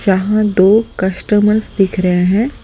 जहां दो कस्टमर्स दिख रहे हैं--